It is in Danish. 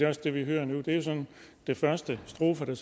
også det vi hører nu det er jo sådan den første strofe